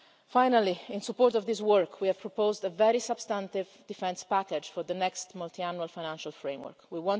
Finally, in support of this work, we have proposed a very substantive defence package for the next Multiannual Financial Framework